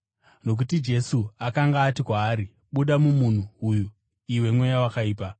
Nokuti Jesu akanga ati kwaari, “Buda mumunhu uyu, iwe mweya wakaipa!”